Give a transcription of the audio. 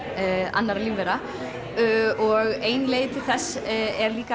annarra lífvera og ein leið til þess er líka